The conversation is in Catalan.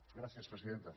gràcies presidenta